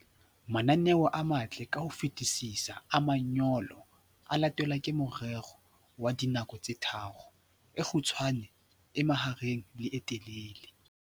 Mananeo a matle ka ho fetisisa a manyolo a latelwa ke morero wa dinako tse tharo, e kgutshwane, e mahareng le e telele.